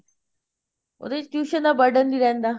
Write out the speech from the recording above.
ਉਹਦੇ ਵਿੱਚ tuition ਦਾ burden ਨੀ ਰਹਿੰਦਾ